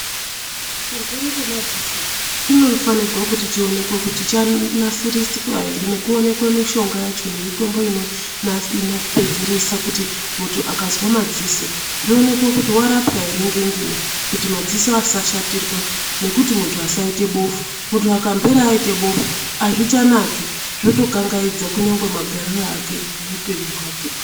Chirwere chemadziso chinofanirwa kuti chionekwe kuti chanasiriswa here nekuonekwe mishonga yacho nemitombo inopedzeresa kuti muntu akazwa madziso zvionekwe kuti warapwa here ngenguwa kuti madziso asashatirwa nekuti muntu asaite bofu, muntu akamhera aite bofu azvichanaki zvotokangaidza nyangwe magariro ake muupenyu hwake.